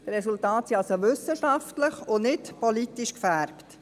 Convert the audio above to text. Die Resultate sind also wissenschaftlich, und nicht politisch gefärbt.